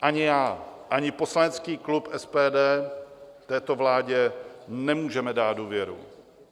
Ani já, ani poslanecký klub SPD této vládě nemůžeme dát důvěru.